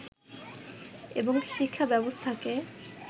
এবং শিক্ষা ব্যবস্থাকে